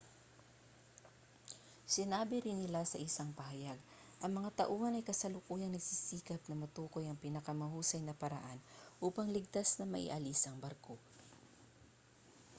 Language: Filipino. sinabi rin nila sa isang pahayag ang mga tauhan ay kasalukuyang nagsisikap na matukoy ang pinakamahusay na paraan upang ligtas na maialis ang barko